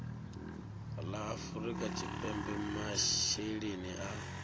la afrika tshipembe masheleni a